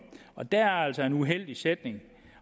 og der er altså en uheldig sætning